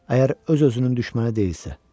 Əgər öz-özünün düşməni deyilsə.